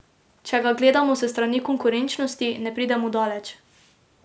Če ga gledamo s strani konkurenčnosti, ne pridemo daleč.